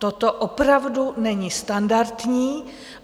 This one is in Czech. Toto opravdu není standardní.